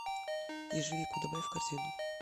ежевику добавь в корзину